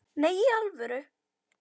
Nei, í alvöru